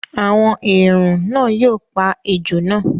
“àwọn èèrùn ” náà yóò pa ejò náà.